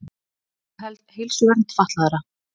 Að auka heilsuvernd fatlaðra.